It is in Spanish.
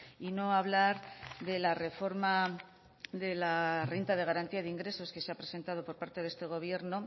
y no hablar de la reforma de la renta de garantía de ingresos que se ha presentado por parte de este gobierno